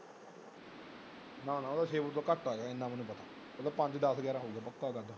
ਨਾ ਨਾ ਓਹਦਾ ਛੇ ਫੁੱਟ ਤੋਂ ਕਟ ਹੋਏਗਾ ਜਿੰਨਾ ਮੇਨੂ ਪਤਾ ਓਹਦਾ ਪੰਜ ਦੱਸ ਗ੍ਯਾਰ ਹੀਏਗਾ ਪੱਕਾ ਓਹਦਾ ਤਾਂ।